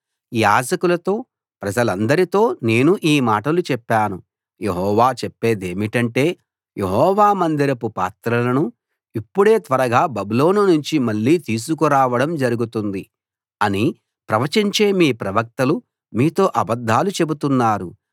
యాజకులతో ప్రజలందరితో నేను ఈ మాటలు చెప్పాను యెహోవా చెప్పేదేమిటంటే యెహోవా మందిరపు పాత్రలను ఇప్పుడే త్వరగా బబులోను నుంచి మళ్ళీ తీసుకురావడం జరుగుతుంది అని ప్రవచించే మీ ప్రవక్తలు మీతో అబద్ధాలు చెబుతున్నారు